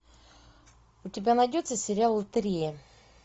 у тебя найдется сериал лотерея